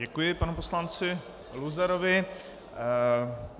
Děkuji panu poslanci Luzarovi. .